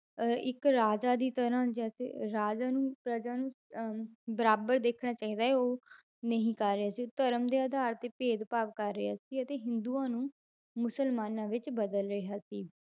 ਅਹ ਇੱਕ ਰਾਜਾ ਦੀ ਤਰ੍ਹਾਂ ਜੈਸੇ ਰਾਜਾ ਨੂੰ ਪ੍ਰਜਾ ਨੂੰ ਅਹ ਬਰਾਬਰ ਦੇਖਣਾ ਚਾਹੀਦਾ ਹੈ ਉਹ ਨਹੀਂ ਕਰ ਰਿਹਾ ਸੀ, ਧਰਮ ਦੇ ਆਧਾਰ ਤੇ ਭੇਦਭਾਵ ਕਰ ਰਿਹਾ ਸੀ ਅਤੇ ਹਿੰਦੂਆਂ ਨੂੰ ਮੁਸਲਮਾਨਾਂ ਵਿੱਚ ਬਦਲ ਰਿਹਾ ਸੀ।